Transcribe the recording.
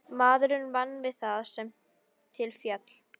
Maður vann við það sem til féll.